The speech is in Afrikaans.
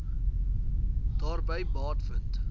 daarby baat vind